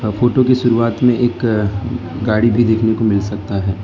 Photo की शुरुआत में एक गाड़ी को देखने को मिल सकता है।